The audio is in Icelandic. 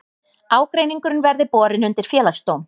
Ágreiningurinn verði borin undir félagsdóm